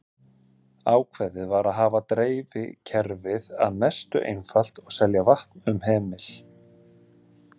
Ákveðið var að hafa dreifikerfið að mestu einfalt og selja vatn um hemil.